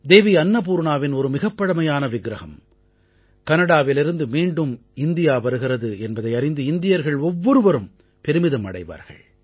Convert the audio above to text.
தேவி அன்னபூர்ணாவின் ஒரு மிகப் பழமையான விக்ரஹம் கனடாவிலிருந்து மீண்டும் இந்தியா வருகிறது என்பதை அறிந்து இந்தியர்கள் ஒவ்வொருவரும் பெருமிதம் அடைவார்கள்